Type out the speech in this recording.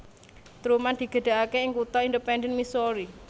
Truman digedhekake ing kutha Independence Missouri